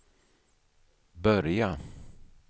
börja